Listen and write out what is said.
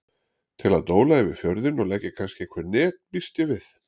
Til að dóla yfir fjörðinn og leggja kannski einhver net býst ég við.